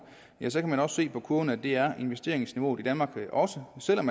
ja så kan man se på kurven at det er investeringsniveauet i danmark også selv om